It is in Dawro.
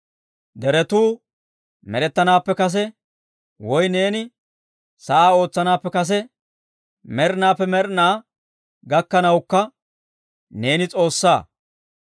Deretuu med'ettanaappe kase, woy neeni sa'aa ootsanaappe kase, med'inaappe med'inaa gakkanawukka neeni S'oossaa.